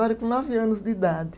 Com nove anos de idade.